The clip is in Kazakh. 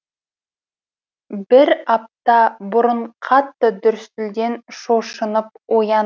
бір апта бұрын қатты дүрсілден шошынып ояндым